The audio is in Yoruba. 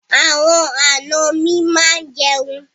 Àwọn àna mi máa jẹun.